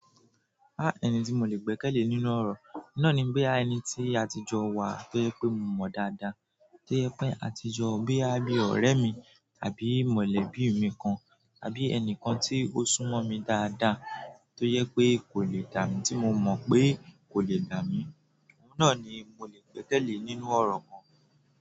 Ah ẹni tí mo lè gbẹ́kẹ̀lé nínú ọ̀rọ̀, na ni bíi ẹni tí àtijọ́ wà tó yẹ pé mo mọ̀ dáadáa, tó yẹ pé àtijọ́ boya bí ọ̀rẹ́ mi àbí mọ̀lẹ́bí mi kan àbí ẹnìkan tí ó súnmọ́ mi dáadáa tó yẹ pé kò lè dà mí tí mo mọ̀ pé kò lè dà mí, òun náà ni mo lè gbẹ́kẹ̀lé nínú ọ̀rọ̀ kan.